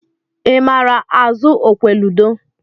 I maara azụ okwe ludo?